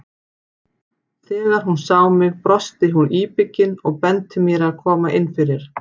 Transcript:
Þegar hún sá mig brosti hún íbyggin og benti mér að koma inn fyrir.